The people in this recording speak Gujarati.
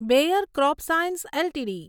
bear CropScience LTD